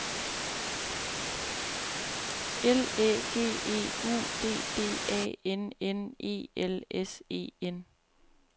L Æ G E U D D A N N E L S E N